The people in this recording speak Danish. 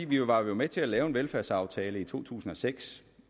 vi var med til at lave en velfærdsaftale i to tusind og seks